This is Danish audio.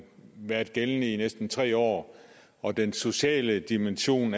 været gældende i næsten tre år og den sociale dimension